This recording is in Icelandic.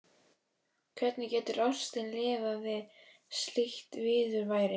Hvernig getur ástin lifað við slíkt viðurværi?